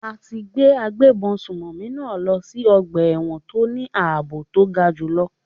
A ti gbé agbébọn sùnmọ̀mí náà lọ sí ọgbà ẹ̀wọ̀n tó ní àbò to ga jù lọ.